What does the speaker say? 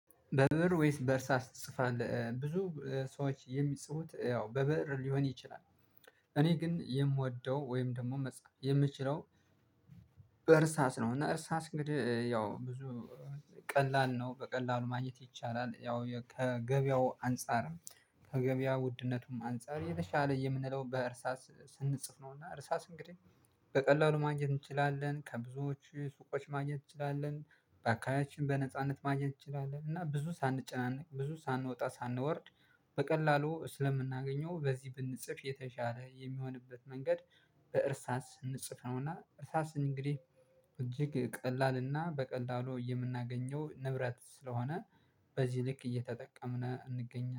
በብእር ወይስ በእርሳስ ትጽፋለህ ብዙ ሰዎች የሚጽፉት ያው በብእር ሊሆን ይችላል? እኔ ግን የምወደው ወይም ደግሞ መፅሀፍ የምችለው በእርሳስ ነው። እና እርሳስ እንግዲህ ያው ብዙ ቀላል ነው በቀላሉ ማግኘት ይቻላል። ያው ከገበያው አንፃርም ከገበያ ውድነቱም አንፃር የተሻለ የምንለው በእርሳስ ስንጽፍ ነውና እርሳስ እንግዲህ በቀላሉ ማግኘት እንችላለን። ከብዙዎቹ ሱቆች ማግኘት እንችላለን በአካባቢያችን በነጻነት ማግኘት እንችላለን። እና ብዙ ሳንጨናነቅ ብዙ ሳንወጣ ሳንወርድ በቀላሉ ስለምናገኘው በዚህ ብንጽፍ የተሻለ የሚሆንበት መንገድ። በእርሳስ እንጽፈውና እርሳስ እንግዲህ እጅግ ቀላልና በቀላሉ የምናገኘው ንብረት ስለሆነ በዚህ ልክ እየተጠቀምን እንገኛለን